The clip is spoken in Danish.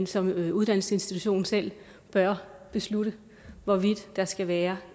som uddannelsesinstitution selv bør beslutte hvorvidt der skal være